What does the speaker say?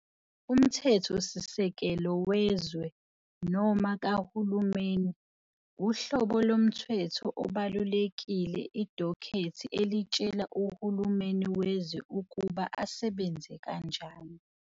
Umthethosisekelo wezwe, noma kahulumeni, uhlobo lomthetho obalulekile idokhethi elitshela uhulumeni wezwe ukuba asebenze kanjani.